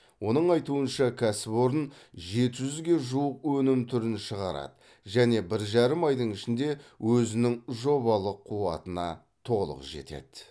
оның айтуынша кәсіпорын жеті жүзге жуық өнім түрін шығарады және бір жарым айдың ішінде өзінің жобалық қуатына толық жетеді